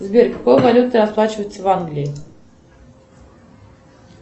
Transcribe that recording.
сбер какой валютой расплачиваются в англии